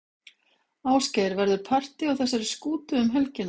Ásgeir, verður partý á þessari skútu um helgina?